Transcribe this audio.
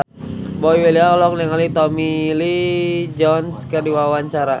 Boy William olohok ningali Tommy Lee Jones keur diwawancara